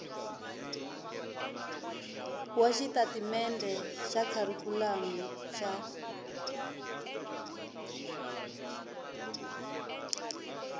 wa xitatimendhe xa kharikhulamu xa